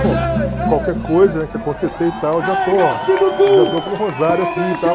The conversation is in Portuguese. Bom, qualquer coisa que acontecer e tal, eu já estou ó eu já estou com um rosário aqui e tal.